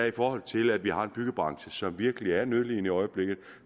i forhold til at vi har en byggebranche som virkelig er nødlidende i øjeblikket